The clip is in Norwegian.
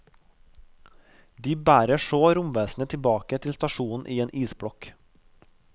De bærer så romvesenet tilbake til stasjonen i en isblokk.